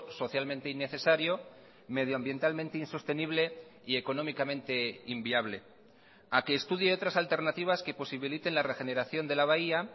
socialmente innecesario medioambientalmente insostenible y económicamente inviable a que estudie otras alternativas que posibiliten la regeneración de la bahía